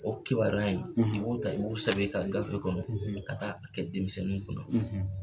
O kibaruya in i b'u ta i b'u sɛbɛn i ka gafe kɔnɔ ka taa a kɛ denmisɛnninw kun na.